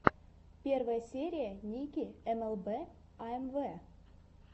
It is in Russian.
первая серия ники эмэлбэ аэмвэ